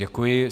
Děkuji.